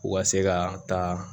U ka se ka taa